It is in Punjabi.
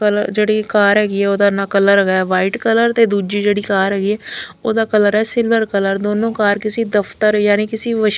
ਕਲਰ ਜਿਹੜੀ ਕਾਰ ਹੈਗੀ ਉਹਦਾ ਕਲਰ ਵਾਈਟ ਕਲਰ ਤੇ ਦੂਜੀ ਜਿਹੜੀ ਕਾਰ ਹੈਗੀ ਉਹਦਾ ਕਲਰ ਹੈ ਸਿਲਵਰ ਕਲਰ ਦੋਨੋਂ ਕਾਰ ਕਿਸੀ ਦਫਤਰ ਯਾਨੀ ਕਿਸੇ--